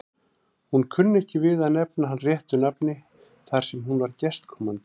Hún kunni ekki við að nefna hann réttu nafni þar sem hún var gestkomandi.